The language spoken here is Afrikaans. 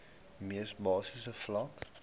mees basiese vlak